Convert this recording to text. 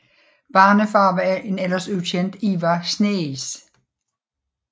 Barnefar var en ellers ukendt Ivar Sneis